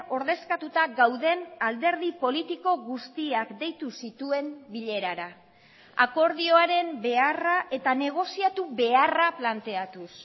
ordezkatuta gauden alderdi politiko guztiak deitu zituen bilerara akordioaren beharra eta negoziatu beharra planteatuz